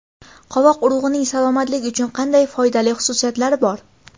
Qovoq urug‘ining salomatlik uchun qanday foydali xususiyatlari bor?.